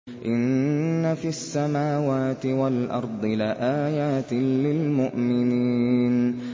إِنَّ فِي السَّمَاوَاتِ وَالْأَرْضِ لَآيَاتٍ لِّلْمُؤْمِنِينَ